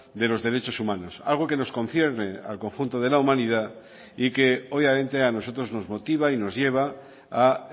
de los derechos humanos algo que nos concierne al conjunto de la humanidad y que obviamente a nosotros nos motiva y nos lleva a